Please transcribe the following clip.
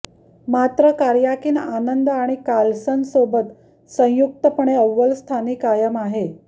मात्र कार्याकिन आनंद आणि कार्लसनसोबत संयुक्तपणे अव्वल स्थानी कायम आहे